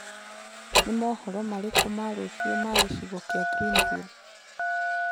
ni mohoro marĩkũ ma riu ma gicigo kia greenville